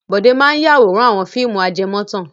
Bọ̀dé máa ń yáwòrán àwọn fíìmù ajẹmọ́tàn.